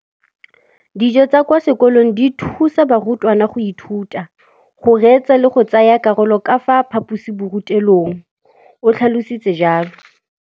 Dijo tsa kwa sekolong dithusa barutwana go ithuta, go reetsa le go tsaya karolo ka fa phaposiborutelong, o tlhalositse jalo.